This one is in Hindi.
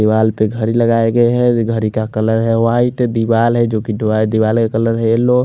दिवार पे घडी लगाई गयी है घडी का कलर है वाइट दिवार है जो की दिवार का कलर येलो --